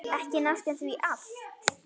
Ekki næstum því allt.